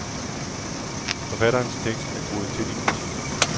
Forfatterens tekst er groet til i klicheer.